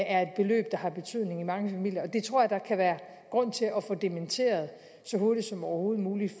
er et beløb der har betydning i mange familier og det tror jeg der kan være grund til at få dementeret så hurtigt som overhovedet muligt